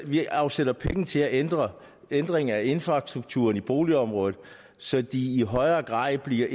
vi afsætter penge til at ændre ændre infrastrukturen i boligområderne så de i højere grad bliver